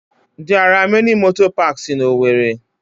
There are many motor parks in owerri.